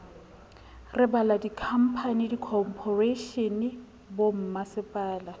re balella dikhamphani dikhophoreishene bommasepala